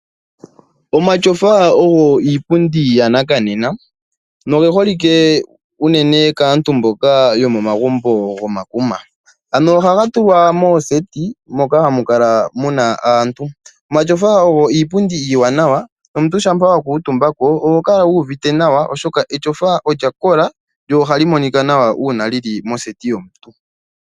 Omatyofa ogo iipundi yanakanena nogeholike unene kaantu mboka yomagumbo gomakuna , ano oha ga tulwa mooseti moka hamu kala muna aantu . omatyofa ogo iipundi iiwanawa nomumtu shampa wa kuutumbako oho kala wuuvite nawa oshoka etyofa olya kola lyo oha li monika nawa ngele lili moseti yomuntu